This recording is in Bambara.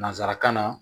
Nansarakan na